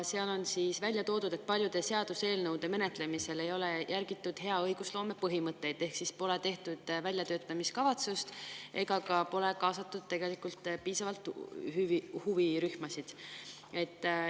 Seal on välja toodud, et paljude seaduseelnõude menetlemisel ei ole järgitud hea õigusloome põhimõtteid ehk siis pole tehtud väljatöötamiskavatsust ega pole huvirühmasid piisavalt kaasatud.